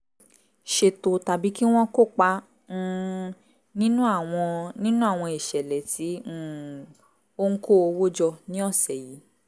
ṣètò tàbí kí wọ́n kópa um nínú àwọn nínú àwọn ìṣẹ̀lẹ̀ tí um ó ń kó owó jọ ní ọ̀sẹ̀ yìí